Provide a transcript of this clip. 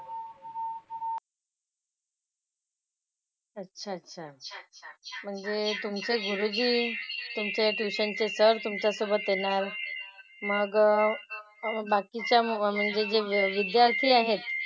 अच्छा अच्छा अच्छा अच्छा . म्हणजे तुमचे गुरुजी तुमचे tuition चे sir तुमच्यासोबत येणार. मग बाकीच्या म्हणजे जे विद्यार्थी आहेत,